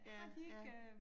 Ja ja